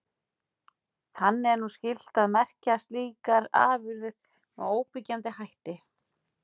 Þannig er nú skylt að merkja slíkar afurðir með óyggjandi hætti.